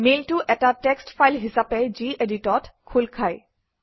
মেইলটো এটা text file হিচাপে Gedit অত খোল খায়